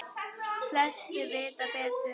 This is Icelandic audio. Flestir vita betur.